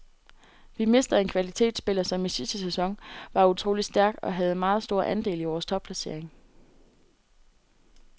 Vi mister en kvalitetsspiller, som i sidste sæson var utrolig stærk og havde meget stor andel i vores topplacering.